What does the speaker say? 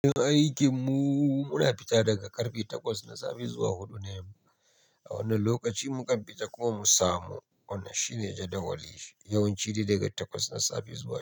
Aikin mu muna fita daga karfe takwas na safe zuwa huɗu na yamma. A wannan lokaci mu ƙa fita kuma mu samu wannan shine jadawalin yawanci ne daga takwas na safe zuwa huɗu.